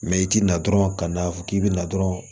Mɛ i tɛ na dɔrɔn ka na fɔ k'i bɛ na dɔrɔn